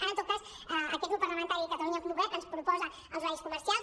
ara en tot cas aquest grup parlamentari catalunya en comú podem ens propo·sa els horaris comercials